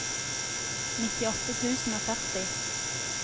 nittiåtte tusen og førti